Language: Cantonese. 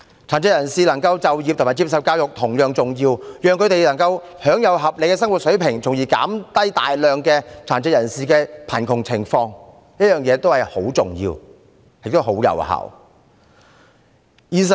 殘疾人士能夠就業和接受教育同樣重要，讓他們能夠享有合理的生活水平，從而減低大量貧困的殘疾人士，是十分重要和有效的。